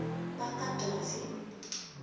bakadavi